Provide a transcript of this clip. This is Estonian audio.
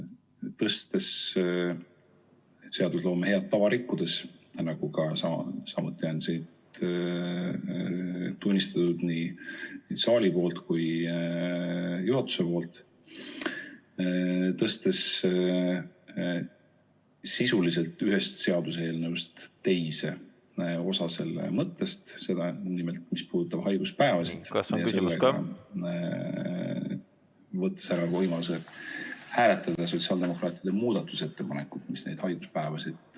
seadusloome head tava rikkudes, nagu on siin tunnistatud nii saali kui ka juhatuse poolelt, tõstes sisuliselt ühest seaduseelnõust teise osa selle mõttest, nimelt, mis puudutab haiguspäevasid, võttes ära võimaluse hääletada sotsiaaldemokraatide muudatusettepanekut, mis neid haiguspäevasid puudutab.